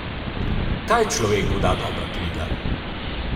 Kaj človeku da dobra knjiga?